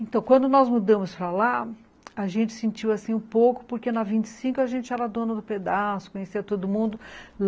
Então, quando nós mudamos para lá, a gente sentiu assim um pouco, porque na vinte e cinco a gente era dona do pedaço, conhecia todo mundo.